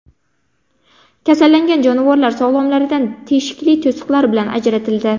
Kasallangan jonivorlar sog‘lomlaridan teshikli to‘siqlar bilan ajratildi.